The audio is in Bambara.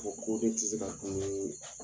O ko de tɛ se ka bange